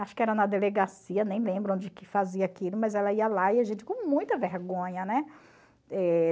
Acho que era na delegacia, nem lembro onde que fazia aquilo, mas ela ia lá e a gente com muita vergonha, né? Eh